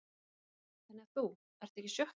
Karen: Þannig að þú, ertu ekki í sjokki?